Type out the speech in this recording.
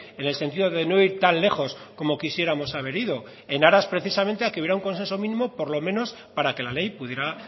en el sentido de no ir tan lejos como quisiéramos haber ido en aras precisamente a que hubiera un consenso mínimo por lo menos para que la ley pudiera